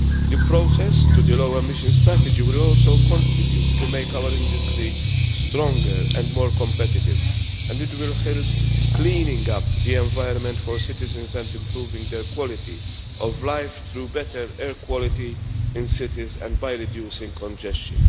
The process to the low emission strategy will also contribute to making our industry stronger and more competitive, and it will help clean up the environment for citizens and improve their quality of life through better air quality in cities and reducing congestion.